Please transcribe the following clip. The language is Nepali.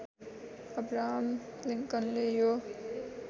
अब्राहम लिङ्कनले यो